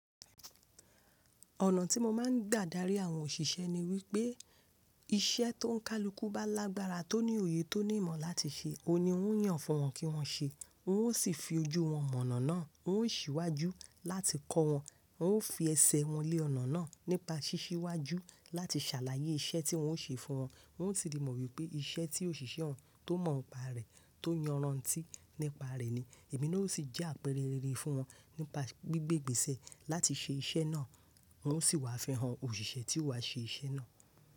Ọ̀nà tí mo máa ń gbàdá rí àwọn òṣìṣẹ́ ni wípé iṣẹ́ tó ń kálukú bá lágbára, tó ní òye, tó ní ìmọ̀ láti ṣe, òun ni wọ́n yàn fún wọn kí wọ́n ṣe, wọn ó sì fi ojú wọn mọ̀nà náà, wọn ó sì wá ju láti kọ́ wọn, wọn ó fi ẹsẹ̀ wọn lé ọ̀nà náà nípa ṣíṣíwájú láti ṣàlàyé iṣẹ́ tí wọ́n o ṣe fún wọn. Wọ́n ti rí mọ̀ wípé iṣẹ́ tí òṣìṣẹ́ wọn tó mọ̀ ọ́n pa rẹ̀, tó yanran tí nípa rẹ̀ ni, èmi náà ó sì jẹ́ àpẹrẹ rere fún wọn nípa gbígbé ìgbésẹ̀ láti ṣe iṣẹ́ náà, wọn ó sì wá fihàn òṣìṣẹ́ tí ó wá ṣe iṣẹ́ náà.